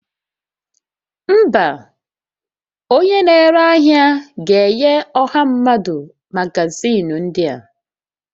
Mba, onye na-ere ahịa ga-enye ọha mmadụ magazịn ndị a